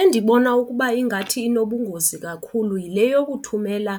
Endibona ukuba ingathi inobungozi kakhulu yile yokuthumela